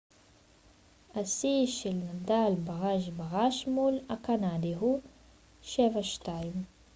השיא של נדאל בראש בראש מול הקנדי הוא 7-2